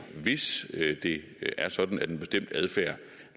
hvis det er sådan at en bestemt adfærd